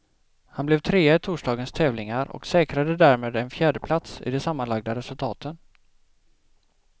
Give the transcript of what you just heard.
Han blev trea i torsdagens tävlingar och säkrade därmed en fjärdeplats i de sammanlagda resultaten.